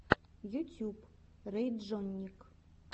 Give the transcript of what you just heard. ютюб рэйджонник